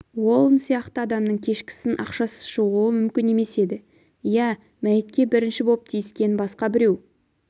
уолн сияқты адамның кешкісін ақшасыз шығуы мүмкін емес еді иә мәйітке бірінші боп тиіскен басқа біреу